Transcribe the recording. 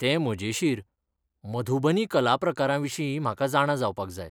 तें मजेशीर, मधुबनी कलाप्रकाराविशींय म्हाका जाणा जावपाक जाय.